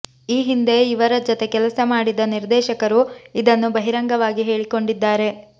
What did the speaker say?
ಈ ಹಿಂದೆ ಇವರ ಜತೆ ಕೆಲಸ ಮಾಡಿದ ನಿರ್ದೇಶಕರು ಇದನ್ನು ಬಹಿರಂಗವಾಗಿ ಹೇಳಿಕೊಂಡಿದ್ದಾರೆ